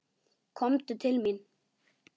Komdu til mín!